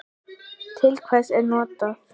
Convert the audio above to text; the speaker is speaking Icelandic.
Til hvers er þetta notað?